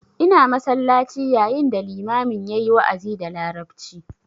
Ina masallaci yayin da limamin yayi wa'azi da larabci